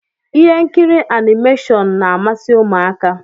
Ihe nkiri animashọnu n'ámási ụmụaka